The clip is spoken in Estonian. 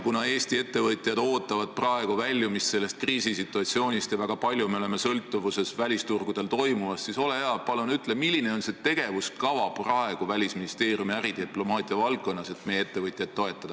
Kuna Eesti ettevõtjad ootavad väljumist sellest kriisisituatsioonist ja me oleme väga suures sõltuvuses välisturgudel toimuvast, siis ole hea ja palun ütle, milline on praegune tegevuskava Välisministeeriumi äridiplomaatia valdkonnas, et meie ettevõtjaid toetada.